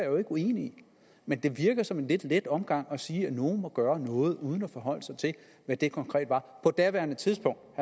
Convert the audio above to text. jo ikke uenig i men det virker som en lidt let omgang at sige at nogle må gøre noget uden at forholde sig til hvad det konkret var på daværende tidspunkt